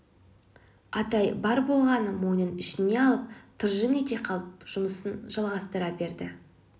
атай бар болғаны мойнын ішіне алып тыржың ете қалып жұмысын жалғастыра берді